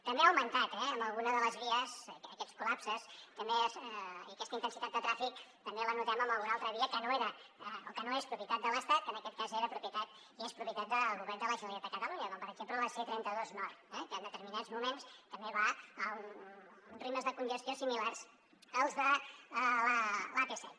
també han augmentat eh en alguna de les vies aquests col·lapses i aquesta intensitat de trànsit també la notem en alguna altra via que no era o que no és propietat de l’estat que en aquest cas era propietat i és propietat del govern de la generalitat de catalunya com per exemple la c trenta dos nord que en determinats moments també va a uns ritmes de congestió similars als de l’ap set